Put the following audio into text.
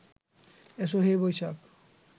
এসো হে বৈশাখ